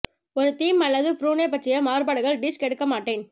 ஒரு தீம் அல்லது ப்ரூனே பற்றிய மாறுபாடுகள் டிஷ் கெடுக்க மாட்டேன்